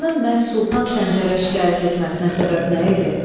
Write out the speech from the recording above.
Qarının məhz Sultan Səncərə şikayət etməsinə səbəb nə idi?